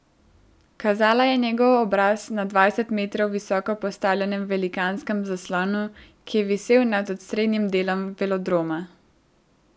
Kazala je njegov obraz na dvajset metrov visoko postavljenem velikanskem zaslonu, ki je visel nad osrednjim delom velodroma.